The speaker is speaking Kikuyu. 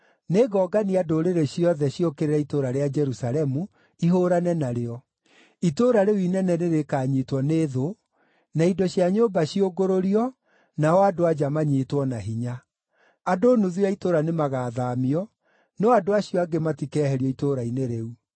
Nĩngongania ndũrĩrĩ ciothe ciũkĩrĩre itũũra rĩa Jerusalemu, ihũũrane narĩo; itũũra rĩu inene nĩrĩkanyiitwo nĩ thũ, na indo cia nyũmba ciũngũrũrio nao andũ-a-nja manyiitwo na hinya. Andũ nuthu ya itũũra nĩmagathaamio, no andũ acio angĩ matikeherio itũũra-inĩ rĩu.